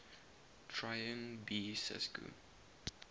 traian b sescu